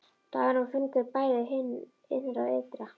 Dagurinn var fagur bæði hið innra og ytra.